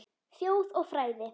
Þjóð og fræði